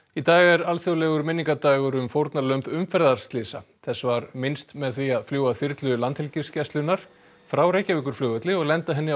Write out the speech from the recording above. í dag er alþjóðlegur minningardagur um fórnarlömb umferðarslysa þess var minnst með því að fljúga þyrlu Landhelgisgæslunnar frá Reykjavíkurflugvelli og lenda henni á